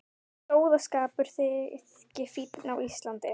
Að sóðaskapur þyki fínn á Íslandi.